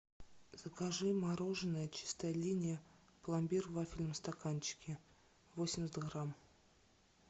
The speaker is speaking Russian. закажи мороженое чистая линия пломбир в вафельном стаканчике восемьдесят грамм